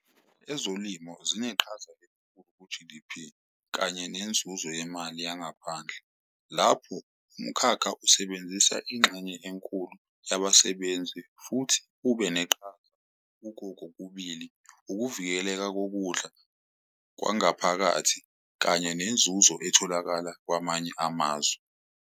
Ezolimo zineqhaza elikhulu ku-G_D_P kanye nenzuzo yemali yangaphandle lapho umkhakha usebenzisa ingxenye enkulu yabasebenzi, futhi ube neqhaza kuko kokubili, ukuvikeleka kokudla kwangaphakathi, kanye nenzuzo etholakala kwamanye amazwe.